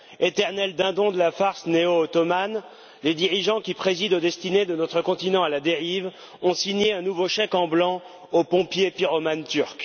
Éternels dindons de la farce néo ottomane, les dirigeants qui président aux destinées de notre continent à la dérive ont signé un nouveau chèque en blanc au pompier pyromane turc.